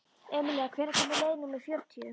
Emilía, hvenær kemur leið númer fjörutíu?